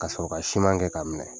Ka sɔrɔ ka siman kɛ k'a minɛ.